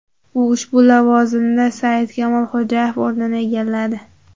U ushbu lavozimda Saidkamol Xo‘jayev o‘rnini egalladi.